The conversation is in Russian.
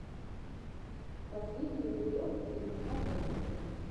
последний эпизод теремка бэби